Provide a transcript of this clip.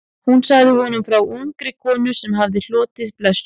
Hún sagði honum frá ungri konu sem hafði hlotnast blessun.